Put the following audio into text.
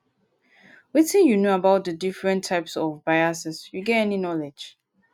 wetin you know about di different types of biases you get any knowledge?